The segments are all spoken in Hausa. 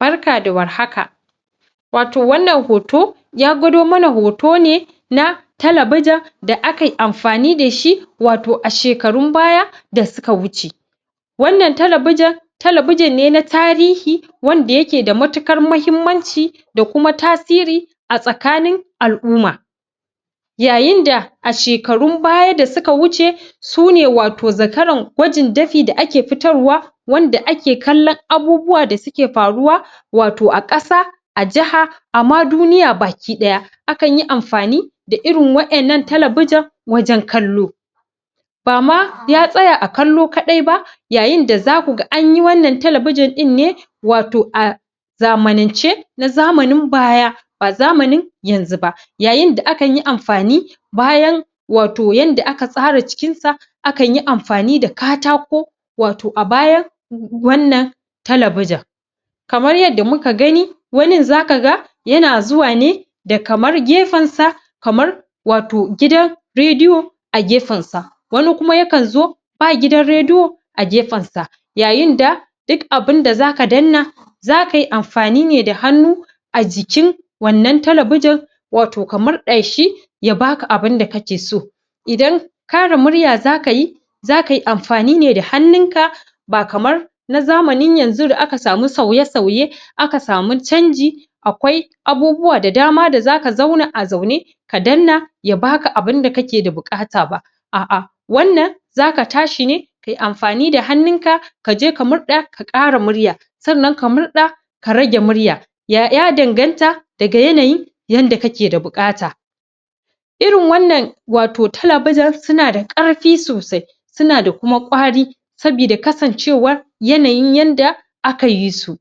Barka da warhaka wato wannan hoto ya gwado mana hoto ne na Talabijin da akai amfani dashi wato a shekarun baya da suka wuce wannan talabijin talabijin ne na tarihi, wanda yake da matuƙar mahimmanci da kuma tasiri a tsakanin al'umma yayin da a shekarun baya da suka wuce, sune wato zakarin gwajin dafi da ake fitarwa wanda ake kallon abubuwa da suke faruwa wato a ƙasa a jiha, ama duniya baki ɗaya, akan yi amfani da irin wa'yan nan talabiji wajan kallo bama ya tsaya a kallo kaɗai ba, yayin da zaku ga anyi wannan talabijin ɗin ne wato a zamanance na zamanin baya ba zamanin yanzu ba yayin da akan yi amfanin bayan wato yadda aka tsara cikin sa akan yi amfani da katako wato a bayan wannan talabiji kamar yadda muka gani wanin zaka ga yana zuwa ne da kamar gefensa kamar wato gidan rediyo a gefen sa wani kuma yakan zo ba gidan rediyo a gefen sa yayin da duk abinda zaka danna zakai amfani ne da hannu a jikin wannan talabijin wato ka murɗa shi ya baka abinda kake so idan ƙara murya zakayi zakai amfani ne da hannun ka ba kamar na zamanin yanzu da aka samu sauye sauye, aka samu canji akwai abubuwa da dama da zaka zauna a zaune ka danna ya baka abunda ake da buƙata ba a'a wannan zaka tashi ne kai amfani da hannun ka kaje ka murɗa ka ƙara murya sannan ka murɗa ka rage murya ya 'ya danganta daga yanayi yadda kake da buƙata irin wannan wato talabijin suna da ƙarfi sosai suna da kuma kwari sabi da kasancewa yanayin yadda aka yi su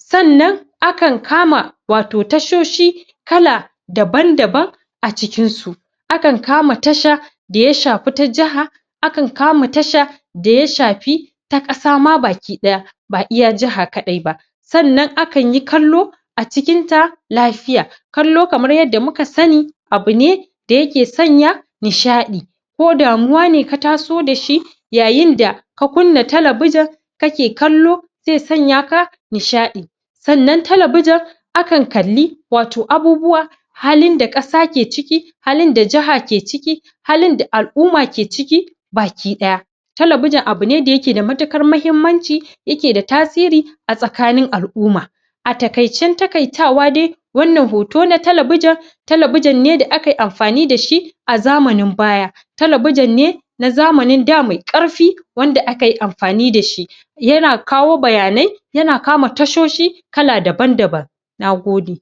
sannan akan kama wato tashoshi kala daban daban a cikin su akan kama tasha da ya shafi ta jiha akan kama tasha da ya shafi ta ƙasa ma baki ɗaya, ba iya jiha kadai ba sannan akan yi kallo a cikin ta lafiya kallo kamar yadda muka sani, abu ne da yake sanya nishaɗi ko damuwa ne ka taso dashi yayin da ka kunna talabijin kake kallo zai sanya ka nishaɗi sannan talabijin akan kalli wato abubuwa halin da ƙasa ke ciki halin da jiha ke ciki halin da a'luma ke ciki, baki ɗaya talabijin abune da yake da matuƙar mahimmanci, yake da tasiri a tsakanin al'umma a taƙaicen taƙaitawa dai wannan hoto na talabijin talabijin ne da akai amfani da shi a zamanin baya talabijin ne na zamanin da mai ƙarfi wanda akai amfani dashi yana kawo bayanai yana kama tashoshi kala daban daban. Nagode.